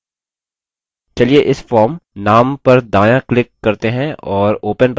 चलिए इस form name पर दायाँ click करते हैं और open पर click करते हैं